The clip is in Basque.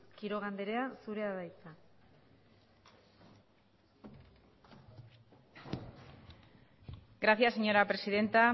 quiroga andrea zurea da hitza gracias señora presidenta